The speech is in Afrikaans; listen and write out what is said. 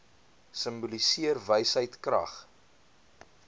simboliseer wysheid krag